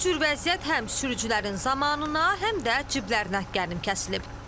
Bu cür vəziyyət həm sürücülərin zamanına, həm də ciblərinə qənim kəsilib.